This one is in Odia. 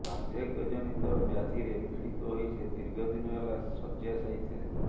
ବାଦ୍ଧକ୍ୟ ଜନିତ ବ୍ୟାଧିରେ ପୀଡ଼ିତ ହୋଇ ସେ ଦୀର୍ଘଦିନ ହେଲା ଶଯ୍ୟାଶାୟୀ ଥିଲେ